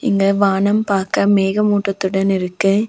இங்க வானம் பாக்க மேகமூட்டத்துடன் இருக்கு.